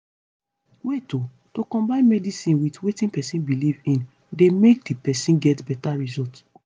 wait o- to combine medicine with wetin pesin belief in dey make di person get beta result